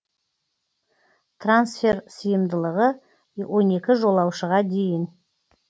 трансфер сыйымдылығы он екі жолаушыға дейін